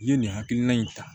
I ye nin hakilina in ta